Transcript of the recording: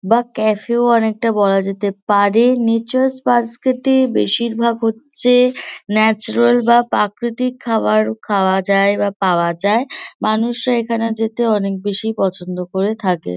বা ক্যাফে -ও অনেকটা বলা যেতে পারে। নেচার্স বাস্কেট -এ বেশিরভাগ হচ্ছে ন্যাচারাল বা প্রাকৃতিক খাবার খাওয়া যায় বা পাওয়া যায় । মানুষরা এখানে যেতে অনেক বেশি পছন্দ করে থাকে।